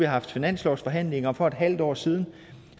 haft finanslovsforhandlinger for et halvt år siden